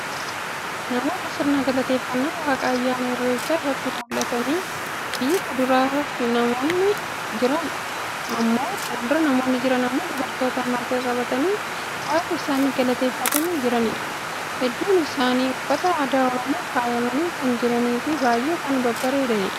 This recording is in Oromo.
Namoota sirna galateeffannaa waaqaa ayyaana Irreechaa irratti mul'atanii fii fuuldura namoonni jiran immoo dubartoota marga qabatanii waaqa isaanii galateeffatanii jiraniidha. Hedduun isaanii uffata aadaa Oromoon faayamanii kan jiranii fii baay'ee kan babbareedaniidha.